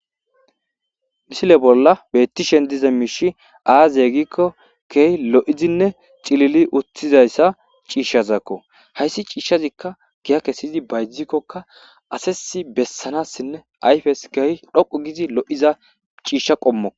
Misile bolla betishe diza mishy aze giikon kehid lo'idinne cilil utizaysa ciishako. Hays cishazika kesid bayzikoka asas besanasinne syfes keeh dhoqu gid lo'iza ciisha qomoko